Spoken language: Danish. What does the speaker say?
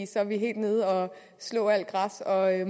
så er vi helt nede og slå alt græs og jeg